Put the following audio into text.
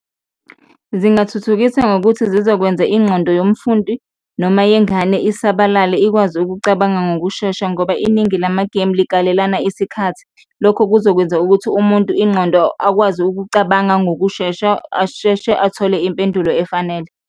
Zingathuthukisa ngokuthi zizokwenza ingqondo yomfundi noma yengane isabalale ikwazi ukucabanga ngokushesha ngoba iningi lamagemu likalelana isikhathi, lokho kuzokwenza ukuthi umuntu ingqondo, akwazi ukucabanga ngokushesha, asheshe athole impendulo efanele.